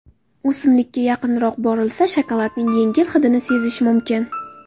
O‘simlikka yaqinroq borilsa, shokoladning yengil hidini sezish mumkin.